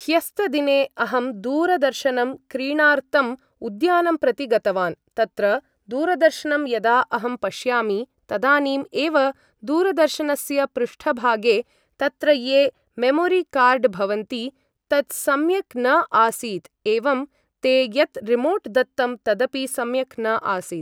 ह्यस्तदिने अहं दूरदर्शनं क्रीणार्तंम् उद्यानं प्रति गतवान् तत्र दूरदर्शनं यदा अहं पश्यामि तदानीम् एव दूरदर्शनस्य पृष्ठभागे तत्र ये मेमोरि कार्ड् भवन्ति तत् सम्यक् न आसीत् एवं ते यत् रिमोट् दत्तं तदपि सम्यक् न आसीत्